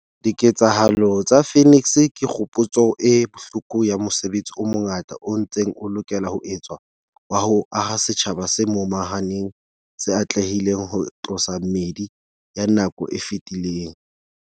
Diketsahalo tsa Phoenix ke kgopotso e bohloko ya mosebetsi o mongata o ntseng o lokela ho etswa wa ho aha setjhaba se momahaneng se atlehileng ho tlosa meedi ya nako e fetileng.